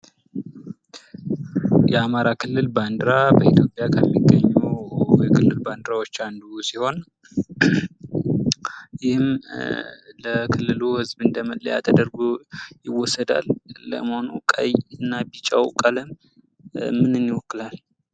የአማራ ክልል ባንዲራ በኢትዮጵያ ከሚገኙ የክልል ባንዲራዎች አንዱ ሲሆን ይህም ለክልሉ ህዝብ እንደ መለያ ተደርጎ ይወሰዳል። ለመሆኑ ቀይ እና ቢጫው ቀለም ምንን ይወክላል?